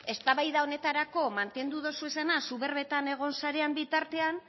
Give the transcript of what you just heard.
eztabaida honetarako mantendu dozu esana zu berbetan egon zaren bitartean